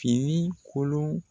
Fini kolon